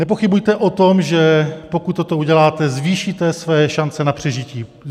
Nepochybujte o tom, že pokud toto uděláte, zvýšíte své šance na přežití.